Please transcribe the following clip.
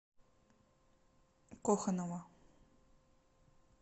коханова